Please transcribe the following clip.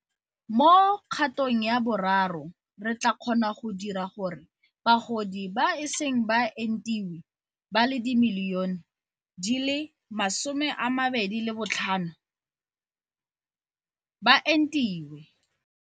Mo Kgatong ya Boraro, re tla kgona go dira gore bagodi ba ba iseng ba entiwe ba le dimilione di le 22.5 ba entiwe.